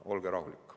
Olge rahulik.